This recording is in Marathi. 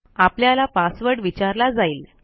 आपल्याला पासवर्ड विचारला जाईल